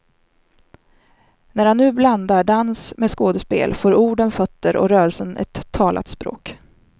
När han nu blandar dans med skådespel får orden fötter och rörelsen ett talat språk.